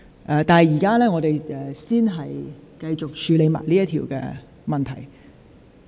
本會現在先繼續處理這項口頭質詢。